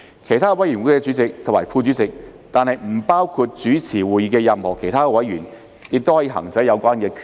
其他委員會主席或副主席，但不包括主持會議的任何其他委員，亦可行使有關權力。